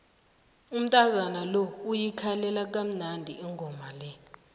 umntazana lo uyikhalelakamnandi ingoma le